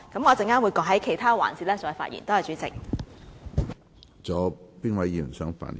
我稍後會在其他環節再發言，多謝主席。